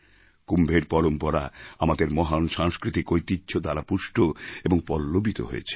কুম্ভের পরম্পরা আমাদের মহান সাংস্কৃতিক ঐতিহ্য দ্বারা পুষ্ট এবং পল্লবিত হয়েছে